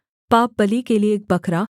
पापबलि के लिये एक बकरा